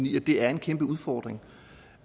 i at det er en kæmpe udfordring